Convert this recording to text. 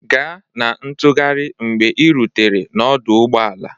Ga na ntụgharị mgbe ị rutere n'ọdụ ụgbọ ala